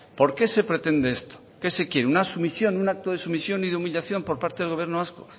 por qué se pretende esto qué se quiere una sumisión un acto de sumisión y de humillación por parte del gobierno vasco